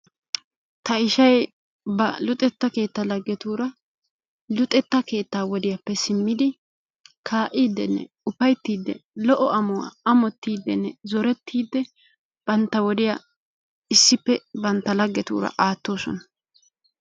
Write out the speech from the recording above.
Ta ishshay ba luxetta keettaa lagettura luxetta keetta woddiyappe simiddi ka'iddinne ufayttidi lo"o amuwaa amottidinne zorettidi bantta wodiyaa issippe bantta lagettura aattosona.